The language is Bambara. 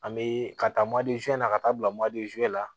An bɛ ka taa made na ka taa bila la